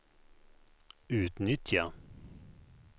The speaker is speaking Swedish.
utnyttja